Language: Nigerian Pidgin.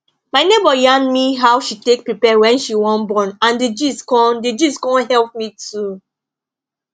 my neighbor yarn me how she take prepare wen she wan born and d gist con d gist con help me too